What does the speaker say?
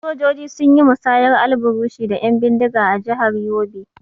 Sojoji sun yi musayar alburushi da 'yan bindiga a jihar Yobe.